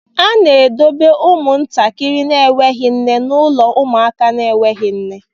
A na-edobe ụmụntakịrị na-enweghị nne n'ụlọ ụmụaka na-enweghị nne